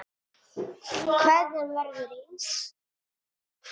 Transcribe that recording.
Kveðjan verður eins.